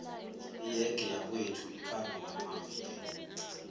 iyege yakwethu ikhamba ngamavilo